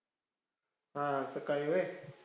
हां, सकाळी व्हंय?